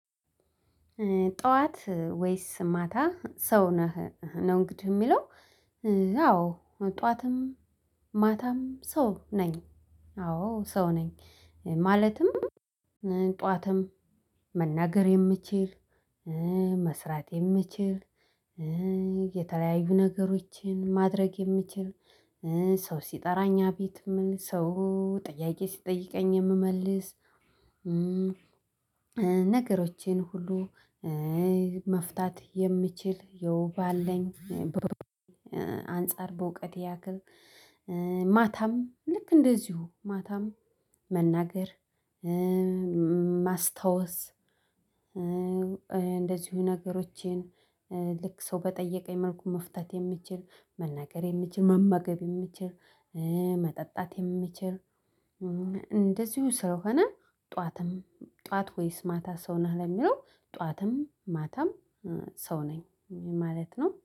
ጠዋት ወይስ ማታ ሰው ነህ ነው እንግዲህ የሚለው? አዎ ጠዋትም ማታም ሰው ነኝ አዎ ሰው ነኝ። ማለትም ጠዋትም መናገር የምችል መስራት የምችል የተለያዩ ነገሮችን ማድረግ የምችል። ሰው ሲጠራኝ አቤት የምል ሰው ጠያቄ ሲጠይቀኝ የምመልስ ነገሮቼን ሁሉ መፍታት የምችል የውብ አለኝ። አንፃር በእውቀቴ ያክል ማታም ልክ እንደዚሁ ማታም መናገር ማስታወስ እንደዚሁ ነገሮቼን ልክ ሰው በጠየቀኝ መልኩ መፍታት የምችል መናገር የምችል መመገብ የምችል። መጠጣት የምችል። እንደዚሁ ስለሆነ ጠዋትም ጠዋት ወይስ ማታ ሰው ነህ ለሚለው ጠዋትም ማታም ሰው ነኝ ማለት ነው